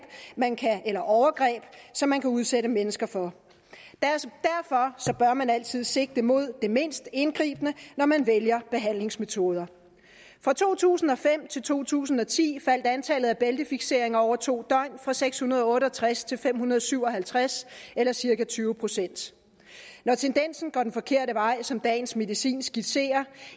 eller overgreb som man kan udsætte mennesker for og man altid sigte mod det mindst indgribende når man vælger behandlingsmetoder fra to tusind og fem til to tusind og ti faldt antallet af bæltefikseringer af over to døgn fra seks hundrede og otte og tres til fem hundrede og syv og halvtreds eller cirka tyve procent når tendensen går den forkerte vej som dagens medicin skitserer